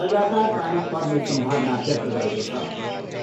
लगातार पानी गर्ने सम्भावना व्यक्त गरेको छ।